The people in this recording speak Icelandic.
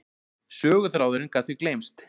Söguþráðurinn gat því gleymst.